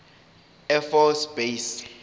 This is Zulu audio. air force base